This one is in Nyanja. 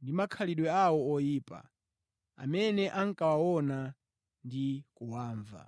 ndi makhalidwe awo oyipa amene ankawaona ndi kuwamva).